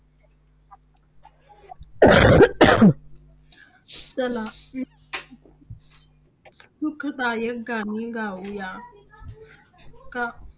चला सुखदायक गाणे गाऊया. का